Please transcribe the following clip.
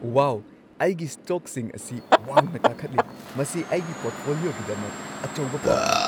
ꯋꯥꯎ, ꯑꯩꯒꯤ ꯁ꯭ꯇꯣꯛꯁꯤꯡ ꯑꯁꯤ ꯋꯥꯡꯅ ꯀꯥꯈꯠꯂꯤ! ꯃꯁꯤ ꯑꯩꯒꯤ ꯄꯣꯔꯠꯐꯣꯂꯤꯑꯣꯒꯤꯗꯃꯛ ꯑꯆꯧꯕ ꯄꯥꯎꯅꯤ꯫